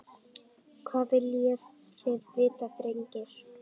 Hvað viljið þið vita drengir?